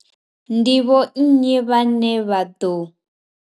Ndi vho nnyi vhane vha ḓo.